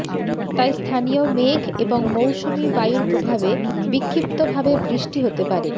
তাই স্থানীয় মেঘ এবং মৌসুমী বায়ুর প্রভাবে বিক্ষিপ্তভাবে বৃষ্টি হতে পারে